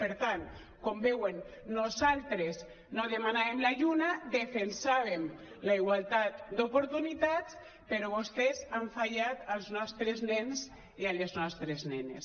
per tant com veuen nosaltres no demanàvem la lluna defensàvem la igualtat d’oportunitats però vostès han fallat als nostres nens i a les nostres nenes